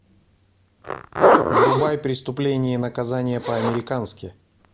врубай преступление и наказание по американски